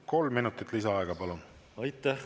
Kolm minutit lisaaega, palun!